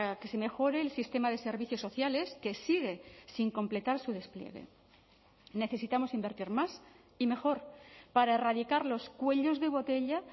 que se mejore el sistema de servicios sociales que sigue sin completar su despliegue necesitamos invertir más y mejor para erradicar los cuellos de botella